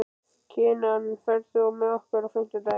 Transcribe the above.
Kinan, ferð þú með okkur á fimmtudaginn?